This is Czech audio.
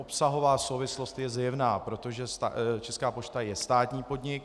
Obsahová souvislost je zjevná, protože Česká pošta je státní podnik.